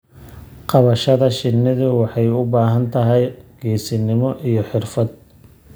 Qabashada shinnidu waxay u baahan tahay geesinimo iyo xirfad.